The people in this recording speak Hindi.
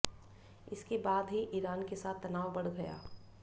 इसके बाद ही ईरान के साथ तनाव बढ़ गया